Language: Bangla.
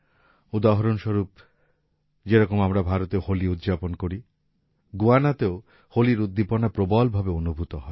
উদাহরণস্বরূপ যে রকম আমরা ভারতে হোলি উদযাপন করি গুয়ানাতেও হোলির উদ্দীপনা প্রবল ভাবে অনুভূত হয়